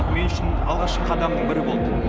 мен үшін алғашқы қадамның бірі болды